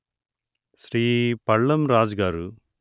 శ్రీ పళ్ళం రాజుగారు